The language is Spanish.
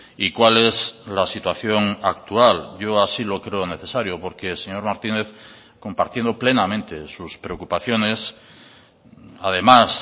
y cuál es la situación actual yo así lo creo necesario porque señor martínez compartiendo plenamente sus preocupaciones además